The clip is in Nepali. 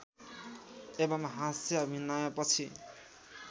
एवं हाँस्य अभिनयपछि